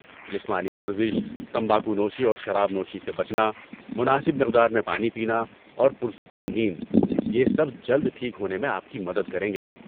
جسمانی ورزش، تمباکو نوشی اور شراب نوشی سے بچنا، مناسب مقدار میں پانی پینا اور پر سکون نیند، یہ سب جلد ٹھیک ہونے میں آپ کی مدد کریں گے۔